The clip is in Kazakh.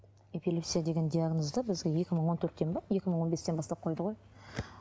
эпилепсия деген диагнозды бізге екі мың он төрттен бе екі мың он бестен бастап қойды ғой